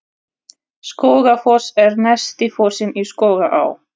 Skógafoss er neðsti fossinn í Skógaá.